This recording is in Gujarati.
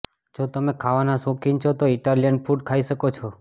જો તમે ખાવાના શોખીન છો તો ઈટાલિયન ફૂડ ખાઈ શકો છો